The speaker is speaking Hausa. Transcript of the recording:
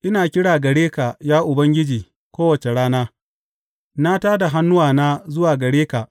Ina kira gare ka, ya Ubangiji, kowace rana; na tā da hannuwana zuwa gare ka.